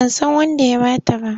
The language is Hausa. Ban san wanda ya ba ta ba.